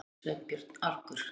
spurði Sveinbjörn argur.